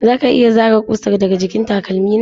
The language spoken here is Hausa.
Za ka iya zare ƙusar daga jikin takalmi na?